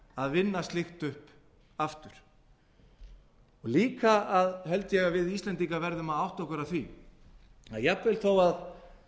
að vinna slíkt upp aftur líka held ég að við íslendingar verðum að átta okkur á því að jafnvel þó